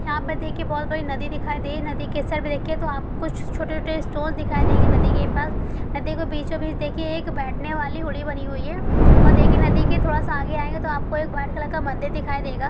यहाँ पर देखिये बहोत बड़ी नदी दिखाई दे रही है| नदी के इस साइड देखिये तो आपको छोटे छोटे स्टूल दिखाई देंगे | नदी के पास नदी के बिचो बीच देखिये एक बैठने वाली होड़ी बनी हुई है| और देखिये नदी के थोड़ा सा आगे आयेंगे तो आपको एक वाइट कलर का मन्दिर दिखाई देगा।